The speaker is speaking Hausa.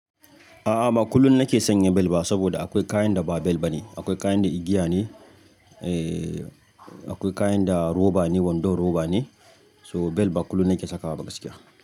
A'a ba kullum nake sanya bel ba saboda akwai kayan da ba bel bane. Akwai kayan da igiya ne, akwai kayan da roba ne wando roba ne. So bel ba kullum nake sakawa gaskiya.